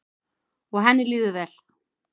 Og henni líður vel.